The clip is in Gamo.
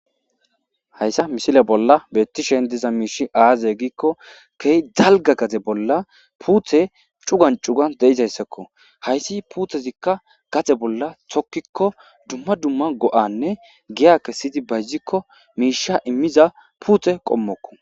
hayssa misile bolla bettishen diza miishi aaze giikko kehy dalga gaxe bolla puuthe cugan cugan deizayssakko hayssi puuthezikka gaxe bolla thokkikko dumma dumma go7anne giya kessidi bayzikko miisha immiza puuthe qommokko.